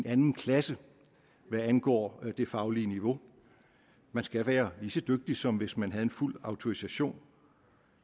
anden klasse hvad angår det faglige niveau man skal være lige så dygtig som hvis man havde en fuld autorisation